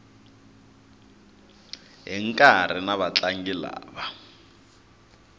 hi nkarhi na vatlangi lava